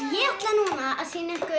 ég ætla núna að sýna ykkur